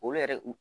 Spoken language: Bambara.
O yɛrɛ